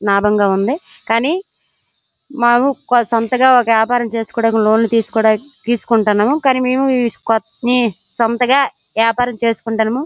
లాభంగా ఉంది. కానీ మాము సొంతగా ఒక వ్యాపారము చేసికోడానికి లోన్ తీసికోడానికి తీసుకుంటున్నాము కానీ మేము సొంతగా వ్యాపారము చేసుకుంటున్నము.